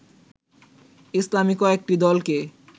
ইসলামী কয়েকটি দলকে